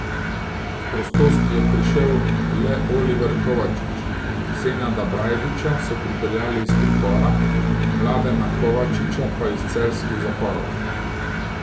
S prostosti je prišel le Oliver Kovačič, Senada Brajdiča so pripeljali iz pripora, Mladena Kovačiča pa iz celjskih zaporov.